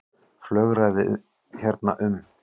Flögraði hérna um.